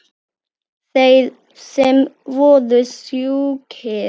Þeir sem voru sjúkir.